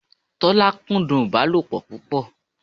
Tọ́lá kúndùn ìbálòpọ̀ púpọ̀